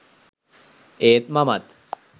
ඒත් මමත්